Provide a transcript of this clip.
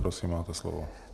Prosím, máte slovo.